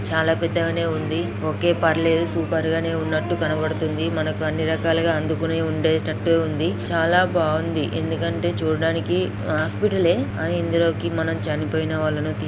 చాలా పెద్దగానే ఉంది ఓకే పర్లేదు సూపర్ గా ఉన్నట్టు కనబడుతుంది. మనకి అన్ని రకాలుగా అందుకొని ఉండేటటే ఉంది చాలా బాగుంది ఎందుకంటే చూడడానికి హాస్పటల్ లే ఆ ఇందులోకి మనం చనిపోయిన వాళ్లను--